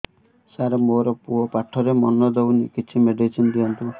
ସାର ମୋର ପୁଅ ପାଠରେ ମନ ଦଉନି କିଛି ମେଡିସିନ ଦିଅନ୍ତୁ